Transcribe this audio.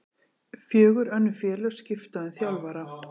Fjögur önnur félög skipta um þjálfara